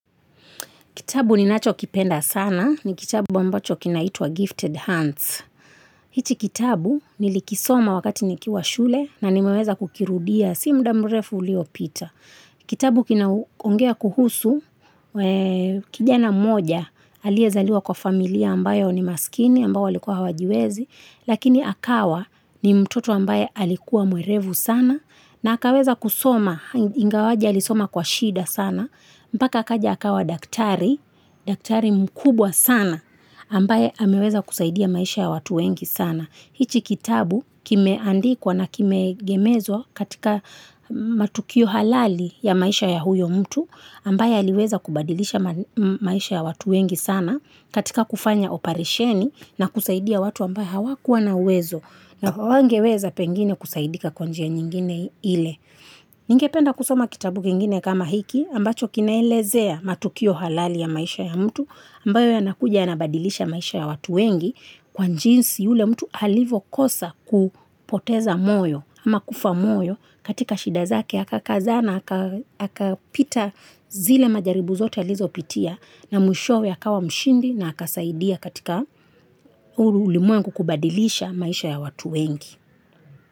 Kitabu ninacho kipenda sana ni kitabu ambacho kinaitwa Gifted Hands. Hichi kitabu nilikisoma wakati nikiwa shule na nimeweza kukirudia si muda mrefu uliopita. Kitabu kinaongea kuhusu kijana mmoja aliezaliwa kwa familia ambayo ni maskini ambayo walikuwa hawajiwezi. Lakini akawa ni mtoto ambaye alikuwa mwerevu sana na akaweza kusoma. Ingawaje alisoma kwa shida sana. Mpaka akaja akawa daktari, daktari mkubwa sana, ambaye ameweza kusaidia maisha ya watu wengi sana. Hichi kitabu kimeandikwa na kimeegemezwa katika matukio halali ya maisha ya huyo mtu, ambaye aliweza kubadilisha maisha ya watu wengi sana katika kufanya oparesheni na kusaidia watu ambao hawakuwa na uwezo. Na hawangeweza pengine kusaidika kwa njia nyingine ile. Ningependa kusoma kitabu kingine kama hiki ambacho kinaelezea matukio halali ya maisha ya mtu ambayo yanakuja yanabadilisha maisha ya watu wengi kwa njinsi yule mtu alivyo kosa kupoteza moyo ama kufa moyo katika shida zake akakazana akapita zile majaribu zote alizopitia na mwishowe akawa mshindi na akasaidia katika huu ulimwengu kubadilisha maisha ya watu wengi.